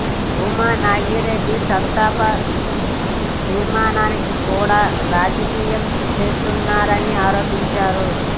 భూమా నాగిరెడ్డి సంతాప తీర్మానాన్ని కూడా రాజకీయం చేస్తున్నారని ఆరోపించారు